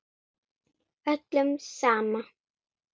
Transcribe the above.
Öllum sama.